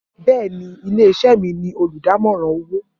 Bẹẹni, ile-iṣẹ mi ni oludamọran owo